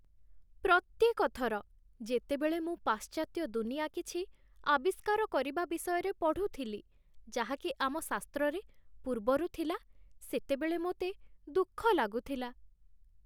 ପ୍ରତ୍ୟେକ ଥର ଯେତେବେଳେ ମୁଁ ପାଶ୍ଚାତ୍ୟ ଦୁନିଆ କିଛି "ଆବିଷ୍କାର" କରିବା ବିଷୟରେ ପଢ଼ୁଥିଲି, ଯାହାକି ଆମ ଶାସ୍ତ୍ରରେ ପୂର୍ବରୁ ଥିଲା, ସେତେବେଳେ ମୋତେ ଦୁଃଖ ଲାଗୁଥିଲା।